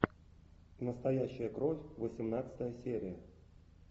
настоящая кровь восемнадцатая серия